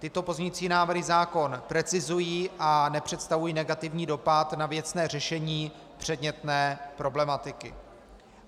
Tyto pozměňující návrhy zákon precizují a nepředstavují negativní dopad na věcné řešení předmětné problematiky.